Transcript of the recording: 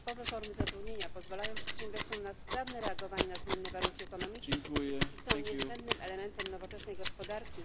nietypowe formy zatrudnienia pozwalają przedsiębiorcom na sprawne reagowanie na zmienne warunki ekonomiczne i są niezbędnym elementem nowoczesnej gospodarki.